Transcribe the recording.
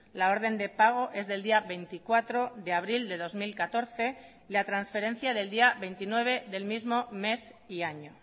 la orden de pago es del día veinticuatro de abril de dos mil catorce y la transferencia del día veintinueve del mismo mes y año